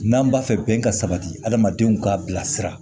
N'an b'a fɛ bɛn ka sabati adamadenw ka bilasira